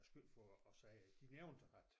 Æ skyld for at sige de nævnte at